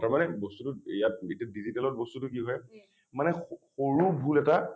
তাৰ মানে বস্তুটোত ইয়াত digital বস্তুটো কি হয় মানে স সৰু ভুল এটা